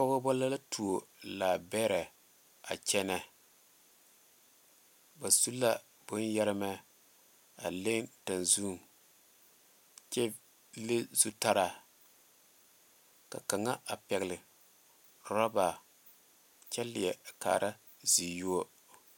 Pɔgeba la tuo laa bɛre a kyɛne ba su la bon yeeremɛ a leŋ tenzune kyɛ le zutara ka kaŋa a pegle rubber kyɛ leɛ a kaara zizuo.